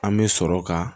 An bɛ sɔrɔ ka